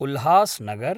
Ulhasnagar